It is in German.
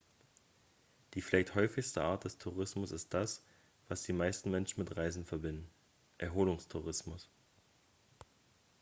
die vielleicht häufigste art des tourismus ist das was die meisten menschen mit reisen verbinden erholungstourismus